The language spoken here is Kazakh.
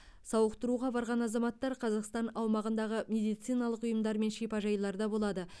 сауықтыруға барған азаматтар қазақстан аумағындағы медициналық ұйымдар мен шипажайларда болады